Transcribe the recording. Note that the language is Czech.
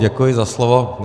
Děkuji za slovo.